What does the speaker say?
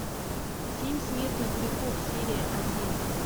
семь смертных грехов серия один